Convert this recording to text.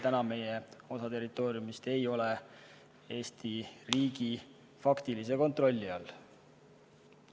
Täna osa meie territooriumist ei ole Eesti riigi faktilise kontrolli all.